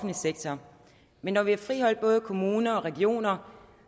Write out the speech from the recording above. sektor men når vi har friholdt både kommuner og regioner